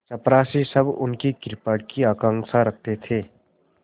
चपरासीसब उनकी कृपा की आकांक्षा रखते थे